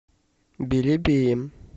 белебеем